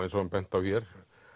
eins og hann benti á hér